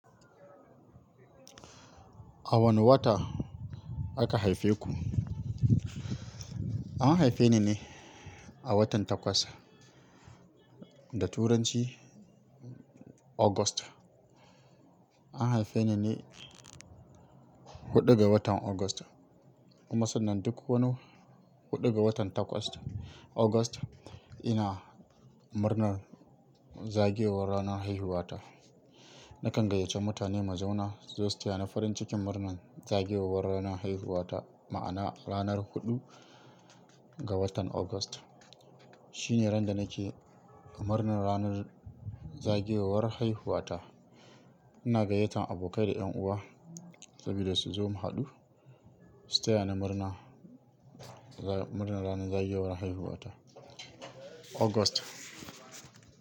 A wane wata aka haife ku? An haife ni ne a watan Takwas, da Turanci August. An haife ni ne huɗu ga watan August. Kuma sannan duk wani huɗu ga watan Takwas, August, ina murnar zagayowar ranar haihuwata. Nakan gayyace mutane mu zauna su zo su taya ni farin cikin murnar zagayowar ranar haihuwata. Ma'ana ranar huɗu ga watan August shine ran da nake murnar ranar zagayowar haihuwata. Ina gayyatar abokai da ƴan uwa saboda su zo mu haɗu su taya ni murna, murnar ranar zagayowar haihuwata, August.